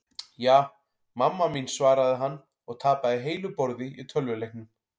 Ja, mamma mín svaraði hann og tapaði heilu borði í tölvuleiknum.